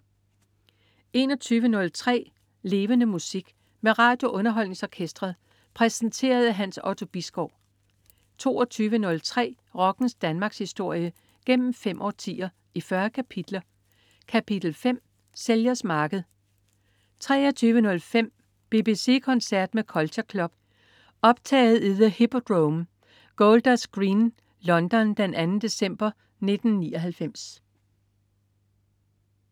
21.03 Levende Musik. Med RadioUnderholdningsOrkestret. Præsenteret af Hans Otto Bisgaard 22.03 Rockens Danmarkshistorie, gennem fem årtier, i 40 kapitler. Kapitel 5: Sælgers marked 23.05 BBC koncert med Culture Club. Optaget i The Hippodrome, Golders Green, London den 2. december 1999